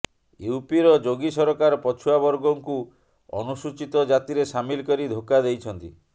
ୟୁପିର ଯୋଗୀ ସରକାର ପଛୁଆ ବର୍ଗଙ୍କୁ ଅନୁସୂଚିତ ଜାତିରେ ସାମିଲ କରି ଧୋକା ଦେଇଛନ୍ତି